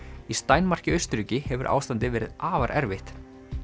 í Steinmark í Austurríki hefur ástandið verið afar erfitt